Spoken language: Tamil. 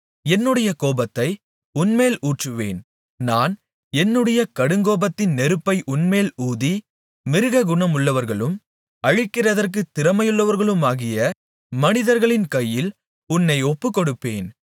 என்னுடைய கோபத்தை உன்மேல் ஊற்றுவேன் நான் என்னுடைய கடுங்கோபத்தின் நெருப்பை உன்மேல் ஊதி மிருககுணமுள்ளவர்களும் அழிக்கிறதற்குத் திறமையுள்ளவர்களுமாகிய மனிதர்களின் கையில் உன்னை ஒப்புக்கொடுப்பேன்